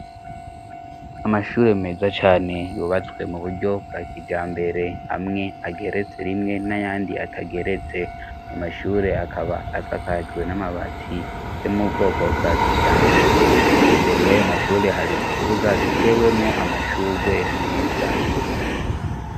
Amashure meza cane yubatswe mu buryo bwa kijambere. Amwe ageretse rimwe n'ayandi atageretse. Ayo mashure akaba asakajwe n'amabati yo mubwoko bwa kijambere. Imbere y'ayo mashure hari ikibuga gitewemwo amashurwe meza.